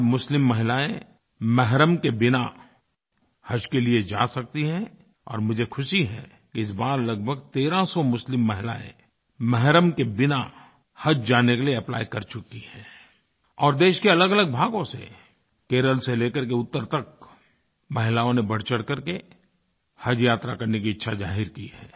आज मुस्लिम महिलाएँ महरम के बिना हज के लिए जा सकती हैं और मुझे खुशी है कि इस बार लगभग तेरह सौ 1300 मुस्लिम महिलाएँ महरम के बिना हज जाने के लिए एप्ली कर चुकी हैं और देश के अलगअलग भागों से केरल से ले करके उत्तर तक महिलाओं ने बढ़चढ़ करके हजयात्रा करने की इच्छा ज़ाहिर की है